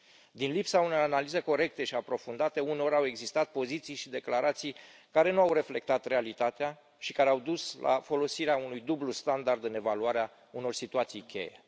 Din lipsa unei analize corecte și aprofundate, uneori au existat poziții și declarații care nu au reflectat realitatea și care au dus la folosirea unui dublu standard în evaluarea unor situații cheie.